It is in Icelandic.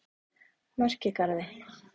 Merkigarði